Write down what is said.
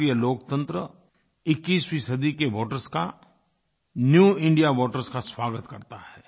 भारतीय लोकतंत्र 21वीं सदी के वोटर्स का न्यू इंडिया वोटर्स का स्वागत करता है